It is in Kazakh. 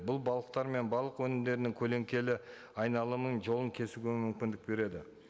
бұл балықтар мен балық өнімдерінің көленкелі айналымын жолын кесуге мүмкіндік береді